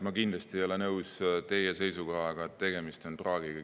Ma kindlasti ei ole nõus teie seisukohaga, et tegemist on praagiga.